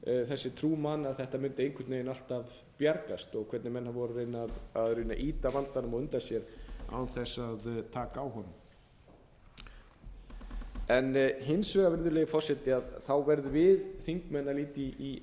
þessi trú manna að þetta mundi einhvern veginn alltaf bjargast og hvernig menn voru í rauninni að reyna að ýta vandanum á undan sér án þess að taka á honum hins vegar virðulegi forseti verðum við þingmenn að líta í